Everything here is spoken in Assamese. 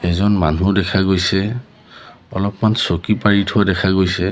এজন মানুহো দেখা গৈছে অলপমান চকী পাৰি থোৱা দেখা গৈছে।